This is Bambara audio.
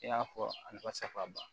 I y'a fɔ a nafaba